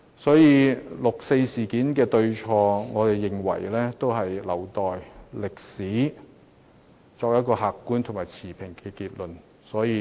所以，對於六四事件的對與錯，我們認為應留待歷史作出客觀和持平的結論。